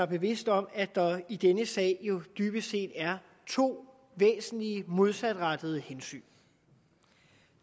bevidst om at der i denne sag jo dybest set er to væsentlige modsatrettede hensyn